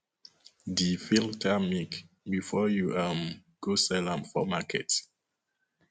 de filter milk before you um go sell sell am for market